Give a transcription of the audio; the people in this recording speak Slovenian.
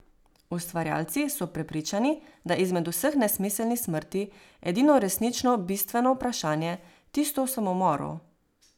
Ustvarjalci so prepričani, da je izmed vseh nesmiselnih smrti edino resnično bistveno vprašanje tisto o samomoru.